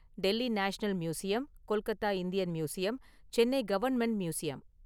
Delhi national museum, Kolkata Indian museum, Chennai government museum.